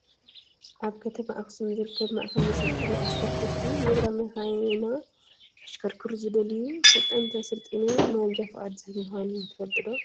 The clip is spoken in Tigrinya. ኣብ ከተማ ኣክሱም ዝርከብ ማእከል መሰልጠኒ ኣሽከርከርቲ ዜብራ መኪና ከሽከርክሩ ዝደልዩ ሰልጠንቲ ኣሰልጢኑ ማንጃ ፍቃድ ዝህብ ምኳኑ ትፈልጡ ዶ ?